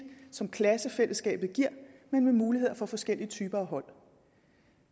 som klassefællesskabet giver men med muligheder for forskellige typer af hold